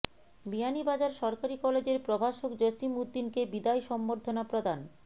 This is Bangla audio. বিয়ানীবাজার সরকারি কলেজের প্রভাষক জসিম উদ্দিনকে বিদায় সংবর্ধনা প্রদান